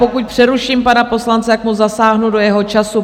Pokud přeruším pana poslance, tak mu zasáhnu do jeho času.